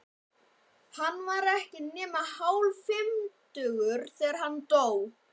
Hann var ekki nema hálffimmtugur, þegar hann dó.